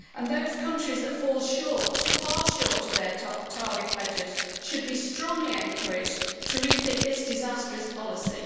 Those countries that fall short, far short, of their target pledges, should be strongly encouraged to rethink this disastrous policy.